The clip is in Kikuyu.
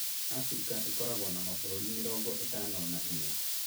Abirika ĩkoragwo na mabũrũri mĩrongo ĩtano na inya.